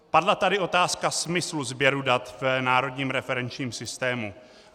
Padla tady otázka smyslu sběru dat v Národním referenčním systému.